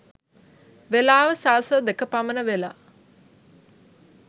වෙලාව සවස දෙක පමණ වෙලා.